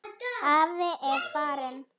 Afi er farinn.